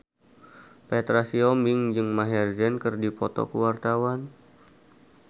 Petra Sihombing jeung Maher Zein keur dipoto ku wartawan